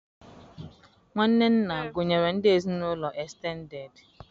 Nwanne nna gụnyere ndị ezinụlọ estended